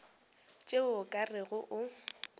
tšeo o ka rego o